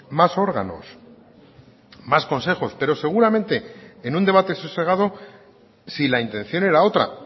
más órganos más consejos pero seguramente en un debate sosegado si la intención era otra